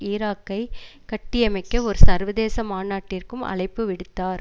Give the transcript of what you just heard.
ஈராக்கைக் கட்டியமைக்க ஒரு சர்வதேச மாநாட்டிற்கும் அழைப்பு விடுத்தார்